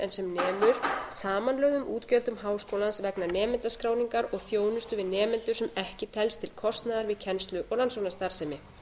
sem nemur samanlögðum útgjöldum háskólans vegna nemendaskráningar og þjónustu við nemendur sem ekki telst til kostnaðar við kennslu og rannsóknarstarfsemi